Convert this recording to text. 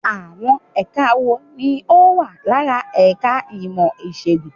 Àwọn ẹka wo ni ó wà lára ẹ̀ka ìmọ̀ Ìṣègùn?